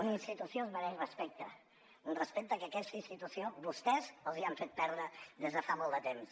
una institució es mereix respecte un respecte que a aquesta institució vostès li han fet perdre des de fa molt de temps